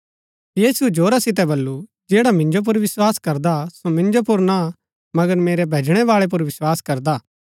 यीशुऐ जोरा सितै बल्लू जैडा मिन्जो पुर विस्वास करदा सो मिन्जो पुर ना मगर मेरै भैजणै बाळै पुर विस्वास करदा हा